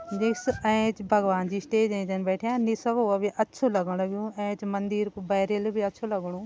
निस एंच भगवान जी स्टेज एंच बैठ्यां निस व भी लगणु लगण लग्युं एंच मंदिर कू भी अच्छु लगणु।